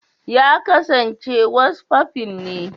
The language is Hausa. Ya kasance wasfafin ne.